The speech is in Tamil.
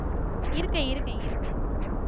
இருக்கேன் இருக்கேன் இருக்கேன்